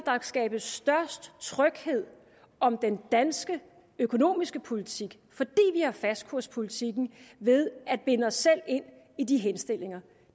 skabes størst tryghed om den danske økonomiske politik fordi vi har fastkurspolitikken ved at binde os selv ind i de henstillinger